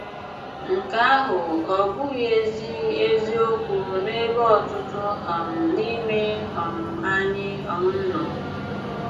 Nke àhụ̀ ọ́ bụ̀ghị̀ ezi ezi òkwù n'ebe ọ̀tùtù um n'ime um ànyị̀ um nọ?